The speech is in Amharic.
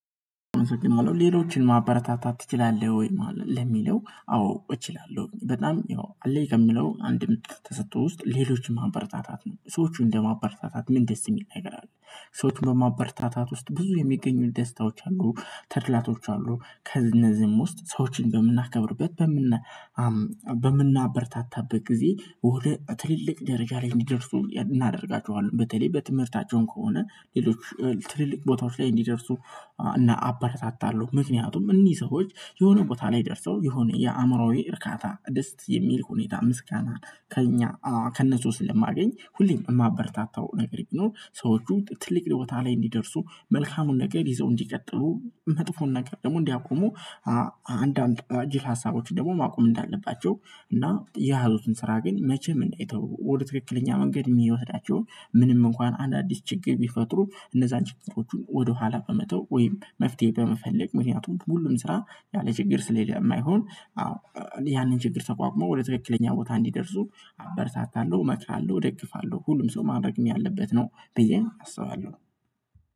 ሌሎችን ማበረታታት ትችላለህ? ወይ ለሚለው አዎ እችላለሁ በጣም ያው አለኝ ከምለው አንድ ምርጥ ተሰጥቶ ውስጥ ሌሎችን ማበረታታት ነው ሰዎች እንደማበረታታት ምን ደስ የሚል ነገር አለ። ሰዎች በማበርታታት ውስጥ ብዙ የሚገኙ ደስታዎች አሉ ተድላቶች አሉ። ከእነዚህም ውስጥ ሰዎችን በምናከብርበት በምና በምናበርታታበት ጊዜ ወደ ትልልቅ ደረጃ ላይ እንዲደርሱ እናደርጋቸዋለን። በተለይ በትምህርታቸውም ከሆነ ሌሎች ትልልቅ ቦታዎች ላይ እንዲደርሱ እና አበረታታለሁ። ምክንያቱም እነዚህ ሰዎች የሆነ ቦታ ላይ ደርሰው የሆነ የአእምሮዬ እርካታ ደስ የሚል ሁኔታ ምስጋና ከእኛ ከእነሱ ስለማገኝ ሁሌም የማበርታታው ነገር ይኖር ሰዎቹ ትልቅ ቦታ ላይ እንዲደርሱ መልካሙን ነገር ይዘው እንዲቀጥሉ መጥፎን ነገር ደግሞ እንዲያቆሙ። አንዳንድ ጅል ሀሳቦች ደግሞ ማቆም እንዳለባቸው እና የያዙትን ስራ ግን መቼም እንዳይተው ወደ ትክክለኛ መንገድ የሚወስዳቸውን ምንም እንኳን አዳዲስ ችግር ቢፈጥሩ እነዛን ችግሮቹን ወደኋላ በመተው ወይም መፍትሄ በመፈለግ ምክንያቱም ሁሉም ስራ ያለ ችግር ስለማይሆን። ያንን ችግር ተቋቁሞ ወደ ትክክለኛ ቦታ እንዲደርሱ አበረታታለሁ እመክራለሁ እደግፋለሁ። ሁሉም ሰው ማድረግም ያለበት ነው ብየም አስባለሁ